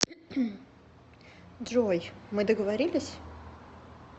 джой мы договорились